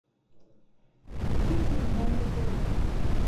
купить миндальный торт